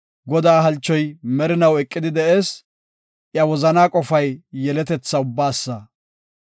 Godaa halchoy merinaw eqidi de7ees; iya wozanaa qofay yeletetha ubbaasa.